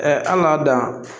an k'a dan